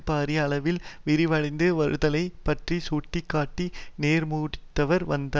பாரிய அளவில் விரிவடைந்து வருதலைப் பற்றி சுட்டி காட்டி நோர்த் முடிவுரைக்கு வத்தார்